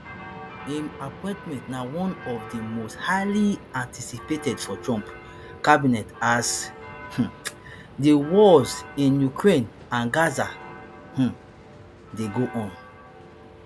im appointment na one of di most highly anticipated for trump cabinet as um di wars in ukraine and gaza um dey go on